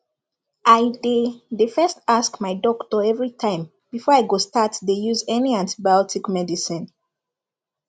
i dey dey first ask my doctor everi time before i go start dey use any antibiotic medicine